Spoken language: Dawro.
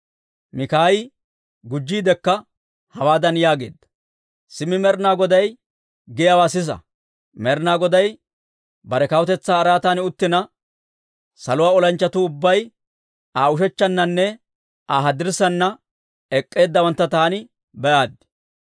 Mikaayi gujjiidekka hawaadan yaageedda; «Simmi Med'inaa Goday giyaawaa sisa! Med'inaa Goday bare kawutetsaa araatan uttina, saluwaa olanchchatuu ubbay Aa ushechchannanne Aa haddirssaana ek'k'eeddawantta taani be'aaddi.